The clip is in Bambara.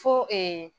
Fo